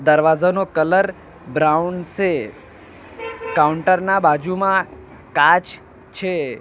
દરવાઝાનો colour brown સે counter ના બાજુમાં કાચ છે.